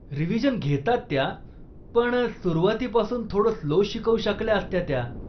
Revision घेतात त्या, पण सुरुवातीपासून थोडं स्लो शिकवू शकल्या असत्या त्या.